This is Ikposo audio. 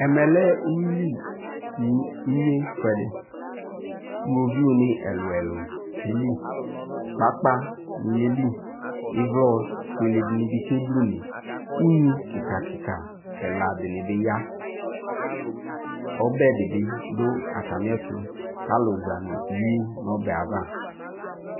Ɛmɛ lɛ uwili ne inye fuɛde Owoviu ne ɛluɛlu ke li Kpakpa ne yeli, ivlɔ fuele de ne be ke bluneUnyi kika kika ɛla de ne be yaƆbɛ de be do atame ɛtoAlu za no iwu nɔbɛ ava